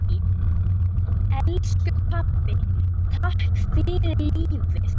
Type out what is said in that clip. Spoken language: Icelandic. Elsku pabbi, takk fyrir lífið.